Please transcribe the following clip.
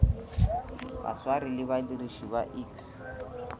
baswari le badiriši ba iks